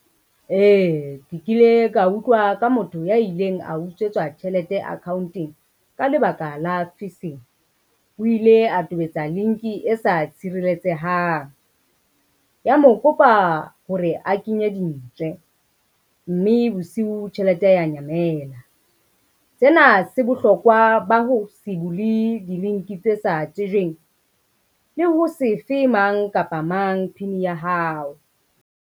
Ee, ke kile ka utlwa ka motho ya ileng a utswetswa tjhelete account-eng ka lebaka la . O ile a tobetsa link e sa tshireletsehang, ya mo kopa hore a kenye dintswe, mme bosiu tjhelete ya nyamela. Sena se bohlokwa ba ho se bule di-link tse sa tsejweng le ho se fe mang kapa mang PIN ya hao.